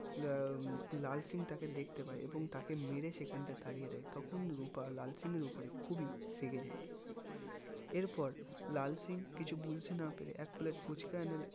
লাল সিং তাকে দেখতে পাই এবং তাকে মেরে সেখান থেকে তাড়িয়ে দেয় তখন রুপা লাল সিংয়ের খুবি রেগে যাই এর পর লাল সিং কিছু বুজতে না পেরে এক plate ফুচকা এনে